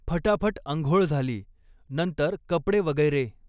फटाफट आंघोळ झाली, नंतर कपडे वगैरे